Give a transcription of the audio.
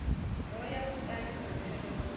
ro ya muḽani roṱhe ro